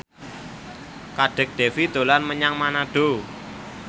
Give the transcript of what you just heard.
Kadek Devi dolan menyang Manado